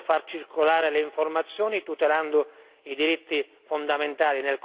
Occorre far circolare le informazioni, tutelando i diritti fondamentali